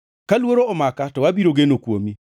Ka luoro omaka to abiro geno kuomi.